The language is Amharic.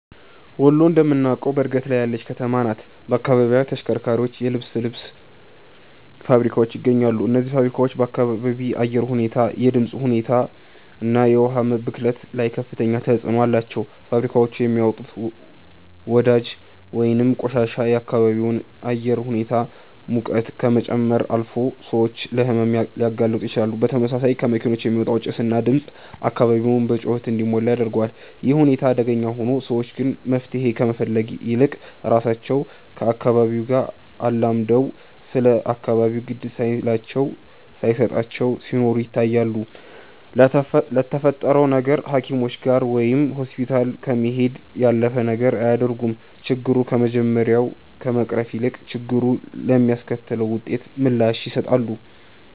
ወሎ እንደምታውቀው በእድገት ላይ ያለች ከተማ ናት። በአካባቢው ተሽከርካሪዎች፣ የልብስ ልብስ ፋብሪካዎች ይገኛሉ። እነዚህ ፋብሪካዎች በአካባቢ አየር ሁኔታ፣ የድምፅ ሁኔታ እና የውሃ ብክለት ላይ ከፍተኛ ተጽዕኖ አላቸው። ፋብሪካዎቹ የሚያወጡት ወዳጅ ወይንም ቆሻሻ የአካባቢውን አየር ሁኔታ ሙቀት ከመጨመር አልፎ ሰዎችን ለሕመም ሊያጋልጡ ይችላሉ። በተመሳሳይ ከመኪኖች የሚወጣው ጭስ እና ድምፅ አካባቢውን በጩኸት እንዲሞላ ያደርገዋል። ይህ ሁኔታ አደገኛ ሆኖ፣ ሰዎች ግን መፍትሄ ከመፈለግ ይልቅ ራሳቸው ከአካባቢው አላምደው ስለ አካባቢው ግድ ሳይላቸው ሳየሰጣቸው ሲኖሩ ይታያሉ። ለተፈጠረው ነገር ሃኪሞችጋ ወይም ሆስፒታል ከመሄድ ያለፈ ነገር አያደርጉም። ችግሩ ከመጀመሪያ ከመቅረፍ ይልቅ፣ ችግሩ ለሚያስከትለው ውጤት ምላሽ ይሰጣሉ